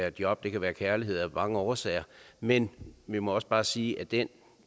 af job det kan være af kærlighed af mange årsager men vi må også bare sige at der